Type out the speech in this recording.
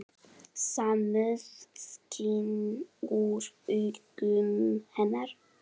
Samúð skín úr augum hennar.